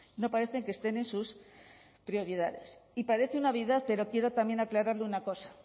no parece que estén en sus prioridades y parece una obviedad pero quiero también aclararle una cosa